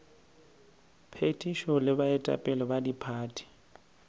phethišo le baetapele ba diphathi